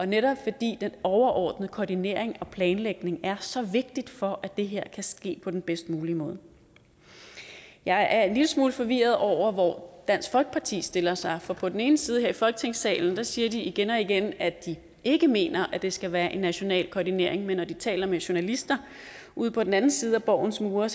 netop fordi den overordnede koordinering og planlægning er så vigtig for at det her kan ske på den bedst mulige måde jeg er en lille smule forvirret over hvor dansk folkeparti stiller sig for på den ene side her i folketingssalen siger de igen og igen at de ikke mener at det skal være en national koordinering men når de taler med journalister ude på den anden side af borgens mure